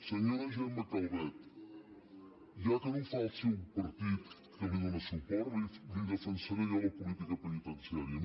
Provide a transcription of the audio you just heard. senyora gemma calvet ja que no ho fa el seu partit que li dóna suport la hi defensaré jo la política peni·tenciària